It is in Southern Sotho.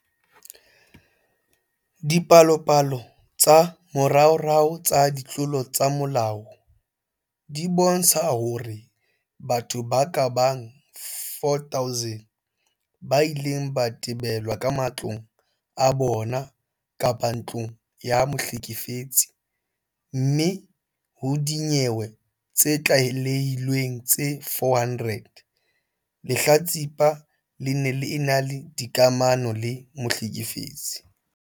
Dipalopalo tsa moraorao tsa ditlolo tsa molao di bontsha hore batho ba ka bang 4 000 ba ile ba betelwa ka matlong a bona kapa ntlong ya mohlekefetsi, mme ho dinyewe tse tlalehilweng tse 400, lehlatsipa le ne le ena le dikamano le mohlekefetsi.